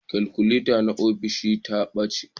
Kalkuleta na ofishin ta ɓace